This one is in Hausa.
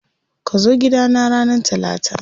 Kazo gida na ranar Talata.